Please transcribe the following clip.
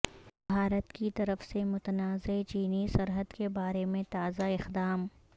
بھارت کی طرف سے متنازعہ چینی سرحد کے بارے میں تازہ اقدام